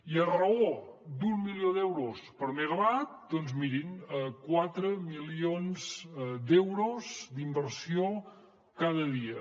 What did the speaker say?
i a raó d’un milió d’euros per megawatt doncs mirin quatre milions d’euros d’inversió cada dia